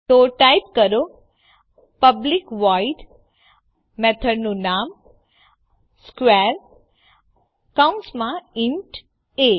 તો ટાઈપ કરો public void મેથડનું નામ સ્ક્વેર કૌંસમાં ઇન્ટ એ